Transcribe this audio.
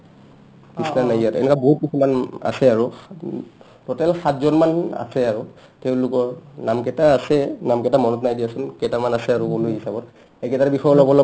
এনেকা বহুত কিছুমান আছে আৰু total সাতজনমান আছে আৰু তেওঁলোকৰ নামকেইটা আছে নামকেইটা মনত নাই দিয়াচোন কেইটামান আছে আৰু হিচাপত সেইকেইটাৰ বিষয়ে অলপ অলপমান